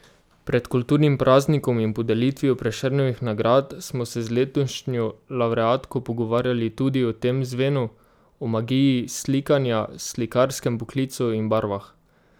Pred kulturnim praznikom in podelitvijo Prešernovih nagrad smo se z letošnjo lavreatko pogovarjali tudi o tem zvenu, o magiji slikanja, slikarskem poklicu in barvah.